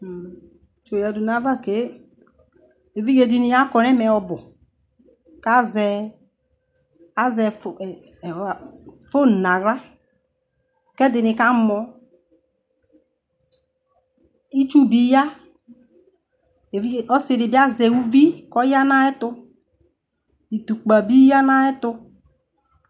tsi yadʋ nʋ aɣa kè ɛvidzɛ dini akɔnʋ ɛmɛ ɔbʋ kʋ azɛ phone nʋ ala kʋ ɛdini kamɔ, itsʋ bi ya, ɔsiidi bi azɛ ʋvi kʋ ɔya nʋ ayɛtʋ, itʋkpa bi yanʋ ayɛtʋ